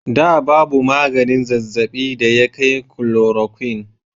Da babu maganin zazzabin da ya kai chloroquine.